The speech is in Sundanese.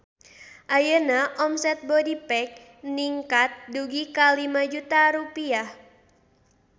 Ayeuna omset Bodypack ningkat dugi ka 5 juta rupiah